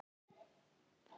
Góðir vinir.